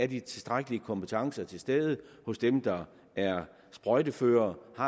de tilstrækkelige kompetencer er til stede hos dem der er sprøjteførere og